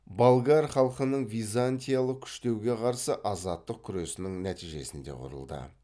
болгар халқының византиялық күштеуге қарсы азаттық күресінің нәтижесінде құрылды